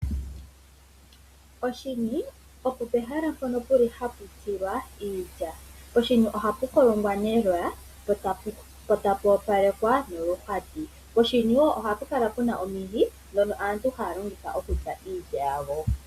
Oshiniopo pehala mpono puli hapu tsilwa iilya. Poshini ohapu kolongwa neloya, po tapu opalekwa noluhwati. Poshini wo ohapu kala puna omihi, ndhono aantu haya longitha okutsa iilya yawo.